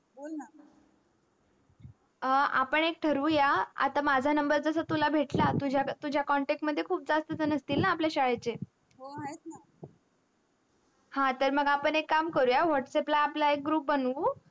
अं आपण एक ठरवूया आता जसा मझा नंबर तुला जसा भेटला तुझ्या contact मध्ये खूप झान असतील ना असतील आपल्या शाळेचे हो आहेत ना ह तर मग आपण एक काम करूय whatsapp ला एक group बनवू